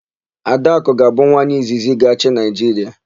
Adakụ ga-abụ nwaanyị izizi ga-achị Naịjiria.